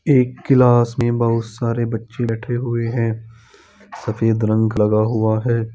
एक क्लास मे बहुत सारे बच्चे रखे बैठे हुए है सफेद रंग लगा हुआ है।